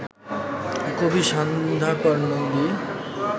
কবি সন্ধ্যাকর নন্দী